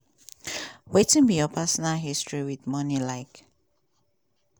wetin be your personal history wit money like?